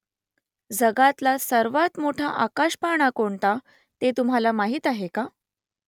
जगातला सर्वांत मोठा आकाशपाळणा कोणता ते तुम्हाला माहीत आहे का ?